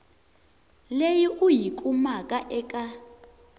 leyi u yi kumaka eka